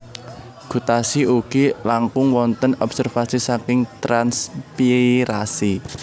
Gutasi ugi langkung wontén obsérvasi saking transpiirasi